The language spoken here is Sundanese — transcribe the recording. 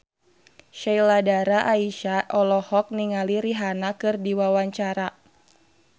Sheila Dara Aisha olohok ningali Rihanna keur diwawancara